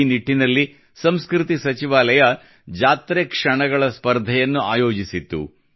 ಈ ನಿಟ್ಟಿನಲ್ಲಿ ಸಂಸ್ಕೃತಿ ಸಚಿವಾಲಯ ಜಾತ್ರೆ ಕ್ಷಣಗಳ ಸ್ಪರ್ಧೆಯನ್ನು ಆಯೋಜಿಸಿತ್ತು